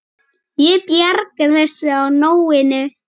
Ég bjargar þessu á nóinu.